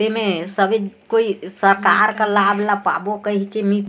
एमे सभी कोई सरकार का लाभ ला पाबो कइके नई--